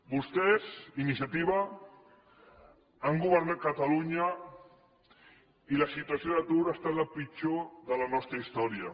vostès iniciativa han governat catalunya i la situació d’atur ha estat la pitjor de la nostra història